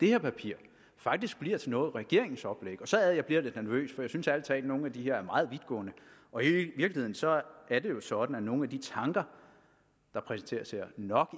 her papir faktisk bliver til noget i regeringens oplæg og så er det at jeg bliver lidt nervøs for jeg synes ærlig talt at nogle af de her er meget vidtgående i virkeligheden så er det jo sådan at nogle af de tanker der præsenteres her nok